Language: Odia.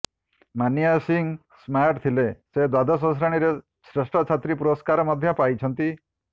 ମାନିଆ ସିଂ ସ୍ମାର୍ଟ ଥିଲେ ସେ ଦ୍ୱାଦଶ ଶ୍ରେଣୀରେ ଶ୍ରେଷ୍ଠ ଛାତ୍ରୀ ପୁରସ୍କାର ମଧ୍ୟ ପାଇଛନ୍ତି